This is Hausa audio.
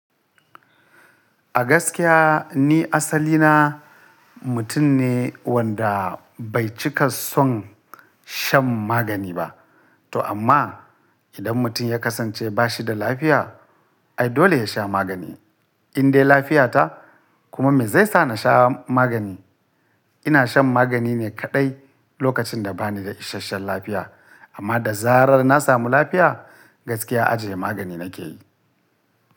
A gaskiya ni asali na mutum ne wanda bai cika son shan magani ba. To amma idan mutum ya kasance ba shi da lafiya, ai dole ya sha magani. In dai lafiya ta kuma me zai sa na sha magani? Ina shan magani ne kaɗai lokacin da ba ni da isashen lafiya. Amma da zarar na samu lafiya gaskiya ajiye magani na ke yi.